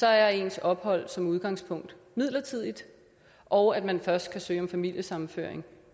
er ens ophold som udgangspunkt midlertidigt og at man først kan søge om familiesammenføring